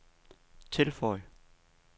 tilføj